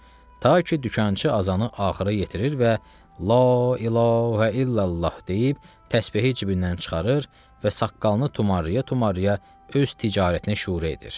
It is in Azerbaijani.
Ta ki dükançı azanı axıra yetirir və "La ilahə illallah" deyib təsbehi cibindən çıxarır və saqqalını tumarlaya-tumarlaya öz ticarətinə şuru edir.